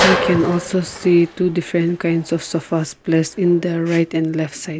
we can also see two different kinds of sofas place in their right and left side.